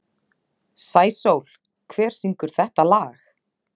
Sæsól, hver syngur þetta lag?